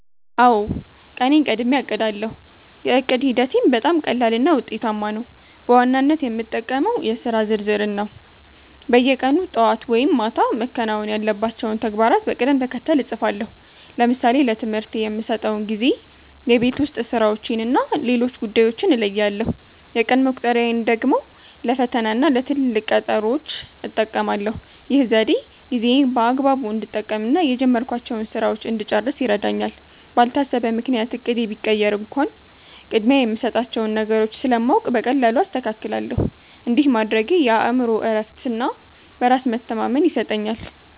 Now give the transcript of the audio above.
አውዎ፣ ቀኔን ቀድሜ አቅዳለው። የዕቅድ ሂደቴም በጣም ቀላልና ውጤታማ ነው። በዋናነት የምጠቀመው የሥራ ዝርዝርን ነው። በየቀኑ ጠዋት ወይም ማታ መከናወን ያለባቸውን ተግባራት በቅደም ተከተል እጽፋለሁ። ለምሳሌ ለትምህርቴ የምሰጠውን ጊዜ፣ የቤት ውስጥ ሥራዎችንና ሌሎች ጉዳዮችን እለያለሁ። የቀን መቁጠሪያን ደግሞ ለፈተናና ለትልቅ ቀጠሮዎች እጠቀማለሁ። ይህ ዘዴ ጊዜዬን በአግባቡ እንድጠቀምና የጀመርኳቸውን ሥራዎች እንድጨርስ ይረዳኛል። ባልታሰበ ምክንያት እቅዴ ቢቀየር እንኳን፣ ቅድሚያ የምሰጣቸውን ነገሮች ስለማውቅ በቀላሉ አስተካክላለሁ። እንዲህ ማድረጌ የአእምሮ እረፍትና በራስ መተማመን ይሰጠኛል።